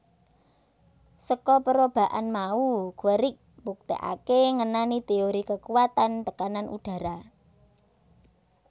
Saka perobaan mau Guerick mbuktekake ngenani teori kekuwatan tekanan udhara